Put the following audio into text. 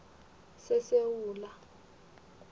sesewula